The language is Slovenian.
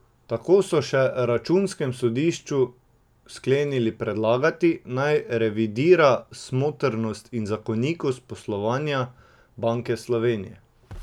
Tako so še računskemu sodišču sklenili predlagati, naj revidira smotrnost in zakonitost poslovanja Banke Slovenije.